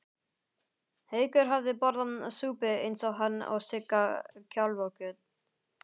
Haukur hafði borðað súpu eins og hann og Sigga kálfakjöt.